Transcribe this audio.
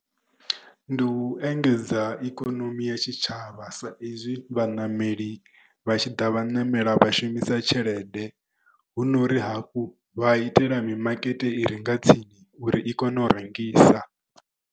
Ndi u engedza ikonomi ya tshitshavha sa izwi vhaṋameli vha tshiḓa vhaṋameli vha shumisa tshelede hu nori hafhu vha itela mimakete i renga tsini uri i kone u rengisa.